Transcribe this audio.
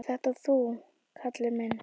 """Ert þetta þú, Kalli minn?"""